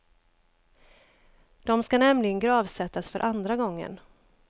De ska nämligen gravsättas för andra gången.